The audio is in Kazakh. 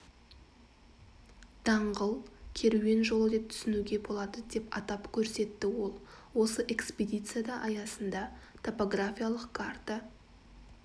даңғыл керуен жолы деп түсінуге болады деп атап көрсетті ол осы экспедицияда аясында топографиялық карта